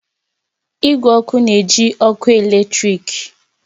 Igwe ọkụ na-eji ọkụ eletrik